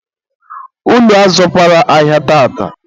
unu azụkwara ahịa tata?